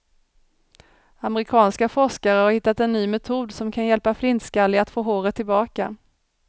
Amerikanska forskare har hittat en ny metod som kan hjälpa flintskalliga att få håret tillbaka.